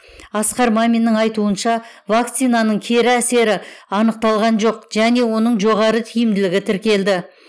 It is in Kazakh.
асқар маминнің айтуынша вакцинаның кері әсері анықталған жоқ және оның жоғары тиімділігі тіркелді